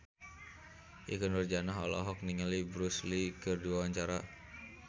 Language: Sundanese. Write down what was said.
Ikke Nurjanah olohok ningali Bruce Lee keur diwawancara